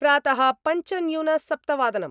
प्रातः-पञ्च न्यून सप्तवादनम्